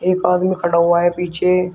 एक आदमी खड़ा हुआ है पीछे।